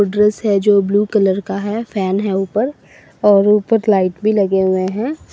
Dress है जो blue colour का है फैन है ऊपर और ऊपर लाइट भी लगे हुए हैं।